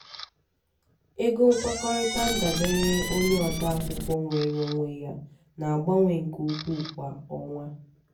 ego nkwekọrịta ndabere onye ode akwụkwọ nweere onwe ya na-agbanwe nke ukwuu kwa ọnwa.